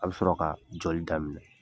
A bɛ sɔrɔ ka joli da minɛ